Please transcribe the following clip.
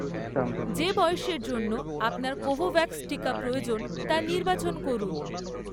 যে বয়সের জন্য আপনার কোভোভ্যাক্স টিকা প্রয়োজন, তা নির্বাচন করুন।